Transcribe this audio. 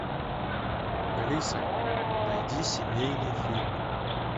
алиса найди семейный фильм